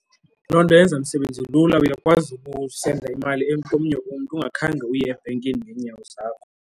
Loo nto yenza umsebenzi lula, uyakwazi ukusenda imali komnye umntu ungakhange uye ebhenkini ngeenyawo zakho.